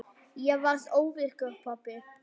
Ég varð óvirkur pabbi.